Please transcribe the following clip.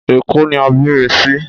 Èkó ni a bí mi sí